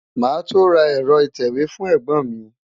Màá tó ra ẹ̀rọ ìtẹ̀wé fún ẹ̀gbọ́n mi.